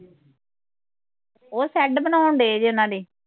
ਉਹ ਸ਼ੈਡ ਬਣਾਉਣ ਡਏ ਜੇ ਓਹਨਾ ਦੀ